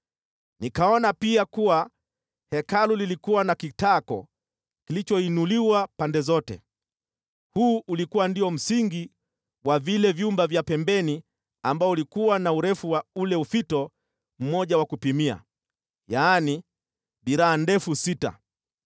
Nikaona pia kuwa Hekalu lilikuwa na kitako kilichoinuliwa pande zote, huu ulikuwa ndio msingi wa vile vyumba vya pembeni ambao ulikuwa na urefu wa ule ufito mmoja wa kupimia, yaani, dhiraa ndefu sita.